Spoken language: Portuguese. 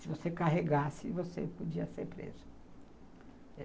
Se você carregasse, você podia ser preso.